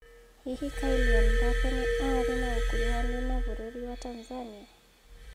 Hihi Kylian Mbappe nĩ aarĩ na ũkuruhanu na bũrũri wa Tanzania?